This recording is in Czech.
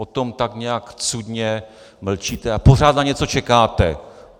O tom tak nějak cudně mlčíte a pořád na něco čekáte.